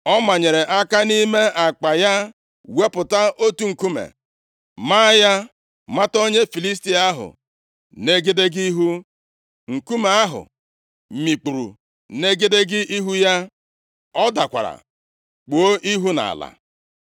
Ọ manyere aka nʼime akpa ya wepụta otu nkume, maa ya mata onye Filistia ahụ nʼegedege ihu. Nkume ahụ mikpuru nʼegedege ihu ya, ọ dakwara kpuo ihu nʼala.